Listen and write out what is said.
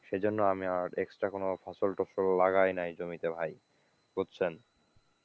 সেজন্য আমি আর extra কোন ফসল টসল লাগাইনাই জমিতে ভাই বুঝছেন?